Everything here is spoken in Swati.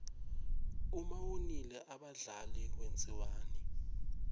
uma wonile abadlali wenziwani